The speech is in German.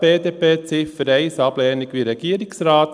BDP, Ziffer 1, Ablehnung wie der Regierungsrat.